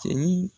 Cɛin